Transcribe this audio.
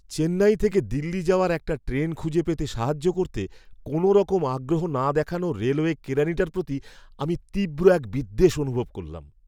চেন্নাই থেকে দিল্লি যাওয়ার একটা ট্রেন খুঁজে পেতে সাহায্য করতে কোনওরকম আগ্রহ না দেখানো রেলওয়ে কেরানিটার প্রতি আমি তীব্র এক বিদ্বেষ অনুভব করলাম।